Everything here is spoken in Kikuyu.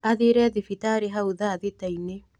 Athire thibitarĩhau thaa thita inĩ.